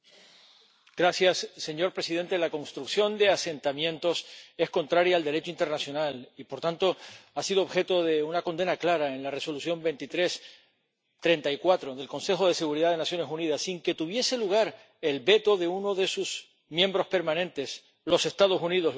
Señor presidente, la construcción de asentamientos es contraria al Derecho internacional y, por tanto, ha sido objeto de una condena clara en la Resolución 2334 del Consejo de Seguridad de Naciones Unidas, sin que tuviese lugar el veto de uno de sus miembros permanentes, los Estados Unidos, lo que significa muchísimo.